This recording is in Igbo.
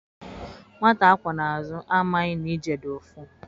Nwata a kwọ n' azụ amaghị na ije dị ụfụ